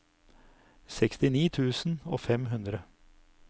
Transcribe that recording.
sekstini tusen og fem hundre